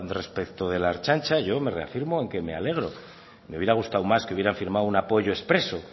respecto de la ertzaintza yo me reafirmo en que me alegro me hubiera gustado más que hubieran firmado un apoyo expreso